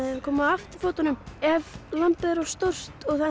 koma á afturfótunum ef lambið er of stórt og það